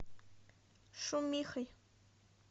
шумихой